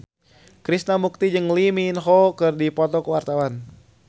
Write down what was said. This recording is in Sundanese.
Krishna Mukti jeung Lee Min Ho keur dipoto ku wartawan